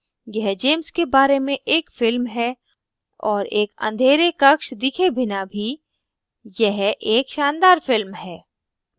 यह james के बारे में एक film है और एक अँधेरे कक्ष दिखे बिना भी यह एक शानदार film है